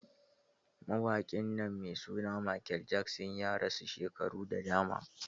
Mawaƙi nan mai suna Michael Jackson ya rasu shekaru da dama.